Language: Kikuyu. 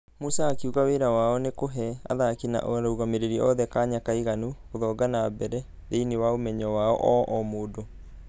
Musa akĩuga wĩra wao nĩ kũhe athaki na arũgamĩrĩri othe kanya kaiganu gũthonga mbere na ....thĩinĩ wa ũmenyo wao ũũ mũndũ.